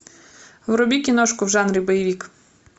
вруби киношку в жанре боевик